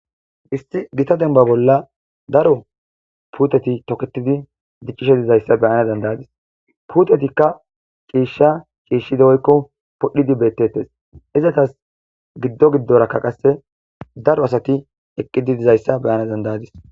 Isti gita denba bolla daro puuteti toketidi diccishe dizayssa beyana dandayadis puutetikka ciishsha ciishshide oykko podhdhidi beetettes izatas giddo giddoraka qasse daro asati eqqidi dizayssa beyana dandayadis.